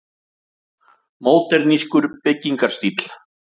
Módernískur byggingarstíll.